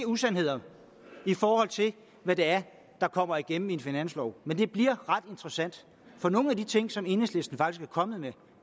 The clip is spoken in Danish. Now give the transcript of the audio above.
usandheder i forhold til hvad det er der kommer igennem i en finanslov men det bliver ret interessant for nogle af de ting som enhedslisten er kommet med